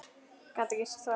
Gat ekkert sagt.